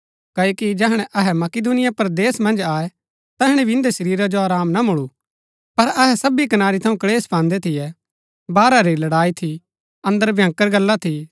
क्ओकि जैहणै अहै मकिदुनिया परदेस मन्ज आये तैहणै भी इन्दै शरीरा जो आराम ना मूलु पर अहै सबी कनारी थऊँ क्‍लेश पान्दै थियै बाहरा री लड़ाई थी अन्दर भंयकर गल्ला थी